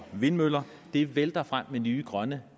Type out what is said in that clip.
vindmøller det vælter frem med nye grønne